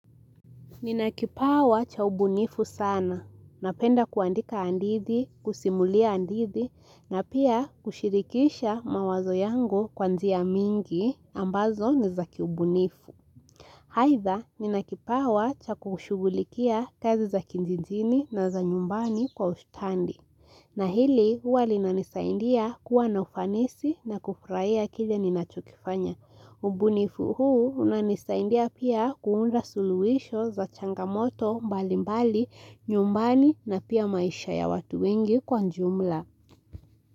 Ninakipawa cha ubunifu sana. Napenda kuandika hadithi, kusimulia hadithi na pia kushirikisha mawazo yangu kwa njia mingi ambazo nizakiubunifu. Aidha, ninakipawa cha kushughulikia kazi za kijijini na za nyumbani kwa ustadi. Na hili huwa linanisaidia kuwa na ufanisi na kufurahia kile ninachokifanya. Ubunifu huu unanisaidia pia kuunda suluhisho za changamoto mbali mbali nyumbani na pia maisha ya watu wengi kwa jumla.